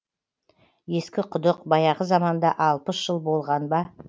ескі құдық баяғы заманда алпыс жыл болған ба